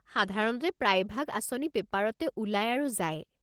সাধাৰণতে প্ৰায়ভাগ আঁচনি পেপাৰতে ওলাই আৰু যায়।